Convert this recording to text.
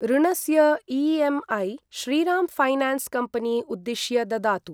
ऋणस्य EMI. Shriram finance company उद्दिश्य ददातु।